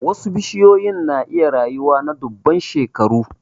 Wasu bishiyoyi na iya rayuwa na dubban shekaru.